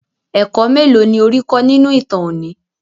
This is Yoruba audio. Ẹ̀kọ́ mélòó ni ó rí kọ́ nínú ìtàn òní?